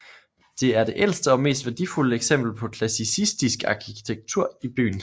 Det er det ældste og mest værdifulde eksempel på klassisistisk arkitektur i byen